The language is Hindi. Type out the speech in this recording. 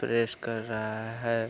प्रेस कर रहा है।